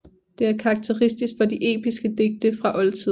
Det er karakteristisk for de episke digte fra oldtiden